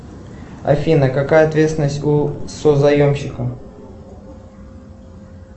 афина какая ответственность у созаемщика